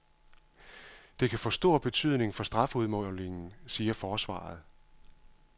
Det kan få stor betydning for strafudmålingen, siger forsvaret.